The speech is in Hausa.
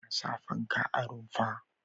Ana sa fanka a rumfa.